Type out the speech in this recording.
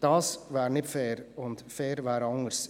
Das wäre nicht fair und fair wäre anders.